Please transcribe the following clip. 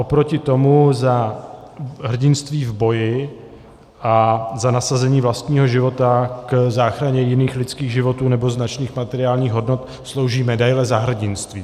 Oproti tomu za hrdinství v boji a za nasazení vlastního života k záchraně jiných lidských životů nebo značných materiálních hodnot slouží medaile Za hrdinství.